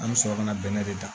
An bɛ sɔrɔ ka na bɛnɛ de dan